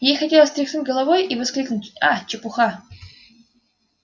ей хотелось тряхнуть головой и воскликнуть а чепуха